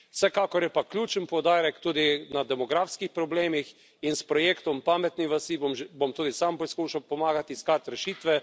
Vsekakor je pa ključen poudarek tudi na demografskih problemih in s projektom pametne vasi bom tudi sam poskušal pomagati iskati rešitve.